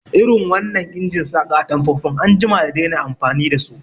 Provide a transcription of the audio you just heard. Irin wannan injin saƙa atamfofin an jima da dena amfani dasu